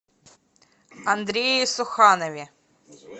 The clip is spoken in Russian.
андрее суханове